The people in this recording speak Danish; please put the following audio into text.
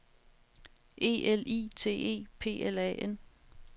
E L I T E P L A N